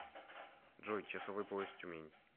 джой часовой пояс тюмень